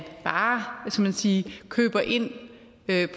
bare skal man sige køber ind